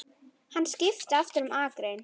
Hann skipti aftur um akrein.